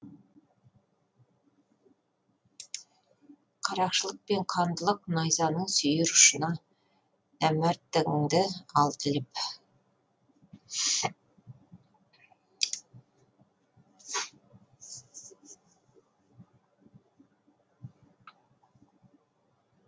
қарақшылық пен қандылық найзаның сүйір ұшына нәмәрттігіңді алды іліп